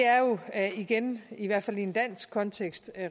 er jo igen i hvert fald i en dansk kontekst